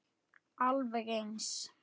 Alveg eins.